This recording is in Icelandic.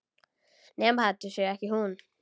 Nema þetta sé ekki hún.